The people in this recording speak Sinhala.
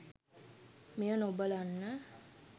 මෙය නොබලන්න.